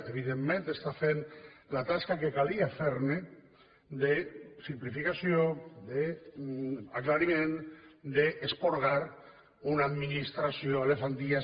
evidentment que està fent la tasca que calia fer de simplificació d’aclariment d’esporgar una administració de fa dies